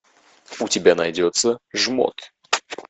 у тебя найдется жмот